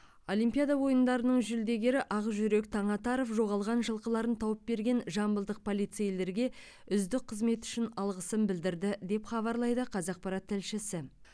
олимпиада ойындарының жүлдегері ақжүрек таңатаров жоғалған жылқыларын тауып берген жамбылдық полицейлерге үздік қызметі үшін алғысын білдірді деп хабарлайды қазақпарат тілшісі